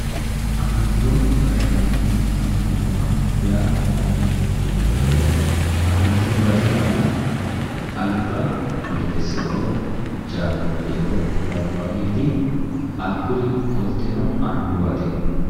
Afantino gashshaanonna annuwa yaa mayate yinniha ikkiro afantino gashshaano alba Meleseo, Janoyeo labbanoreti hakkuri qolteno annuwate.